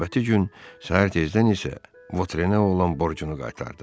Növbəti gün səhər tezdən isə Votrenə olan borcunu qaytardı.